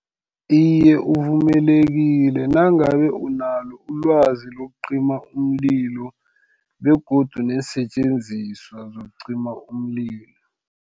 Iye, uvumelekile nangabe unalo ilwazi lokucima umlilo, begodu neensetjenziswa zokucima umlilo.